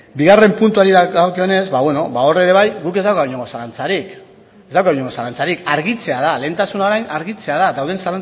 bigarren puntuari dagokionez hor ere bai guk ez daukagu inolako zalantzarik argitzea da lehentasuna orain argitzea da dauden